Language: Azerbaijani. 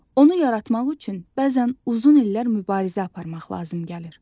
Onu yaratmaq üçün bəzən uzun illər mübarizə aparmaq lazım gəlir.